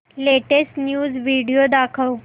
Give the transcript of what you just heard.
latest news video दाखव